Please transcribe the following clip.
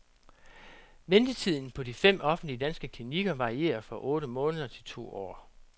Ventetiden på de fem offentlige danske klinikker varierer fra otte måneder til to år.